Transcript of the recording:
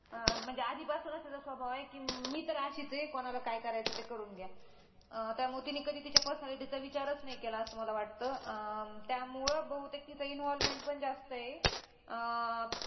अं म्हणजे आधीपासूनच तिचा स्वभाव आहे की मी तर अशीच आहे कोणाला काय करायचं ते करून घ्या. अं त्यामुळे तिने कधी तिच्या personality चा विचारच नाही केला असं मला वाटतं अं त्यामुळं बहुतेक तिचा involvement पण जास्त आहे. अं